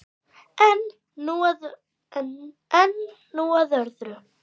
En nú að öðru.